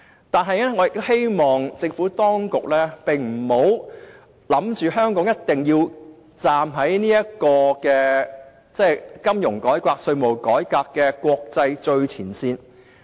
我亦希望政府當局不要以為，香港一定要站在金融改革、稅務改革的國際最前線。